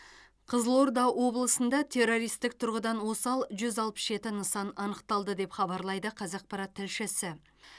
қызылорда облысында террористік тұрғыдан осал жүз алпыс жеті нысан анықталды деп хабарлайды қазақпарат тілшісі